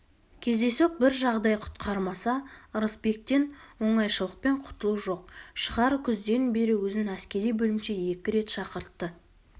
кездейсоқ бір жағдай құтқармаса ырысбектен оңайшылықпен құтылу жоқ шығар күзден бері өзін әскери бөлімше екі рет шақыртты